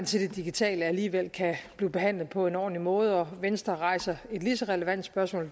til det digitale alligevel kan blive behandlet på en ordentlig måde og venstre rejser et lige så relevant spørgsmål